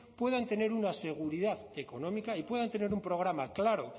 puedan tener una seguridad económica y puedan tener un programa claro